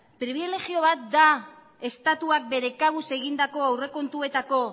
pribilegio bat da estatuak bere kabuz egindako aurrekontuetako